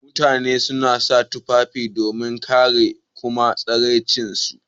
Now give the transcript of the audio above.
Mutani suna sa tufafi domin kare d kuma tsare tsiranci su.